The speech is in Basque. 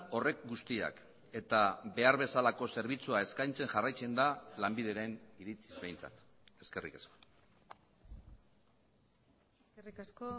horrek guztiak eta behar bezalako zerbitzua eskaintzen jarraitzen da lanbideren iritziz behintzat eskerrik asko eskerrik asko